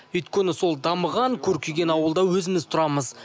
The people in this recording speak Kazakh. өйткені сол дамыған көркейген ауылда өзіміз тұрамыз